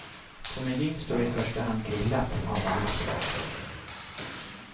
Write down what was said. På menyn står i första hand grillat av alla slag.